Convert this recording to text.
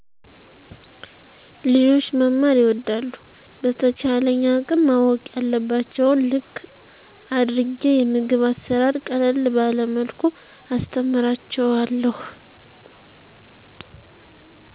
ልጆች መማር ይወዳሉ በተቻለኝ አቅም ማወቅ ያለባቸውን ልክ አድርጌ የምግብ አሰራር ቀለል ባለመልኩ አስተምራቸውለሁ